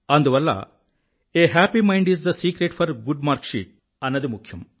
అందువల్ల a happy mind is the secret for a good marksheet అన్నది ముఖ్యం